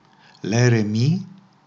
Le remi?